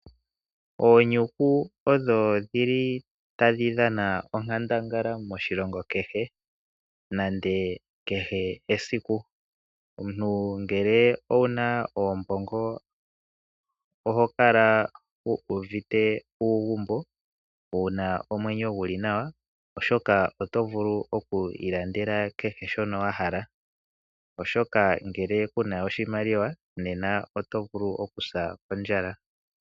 Oonyuku odho tadhi dhana onkandangala moshilongo kehe nenge kehe esiku. Omuntu ngele owu na oombongo oho kala wu uvite uugumbo, wu na omwenyo gu li nawa, oshoka oto vulu oku ilandela kehe shoka wa hala. Ngele ku na oshimaliwa oto vulu okusa kondjala.